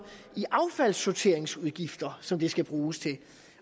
i affaldssorteringsudgifter som de skal bruges til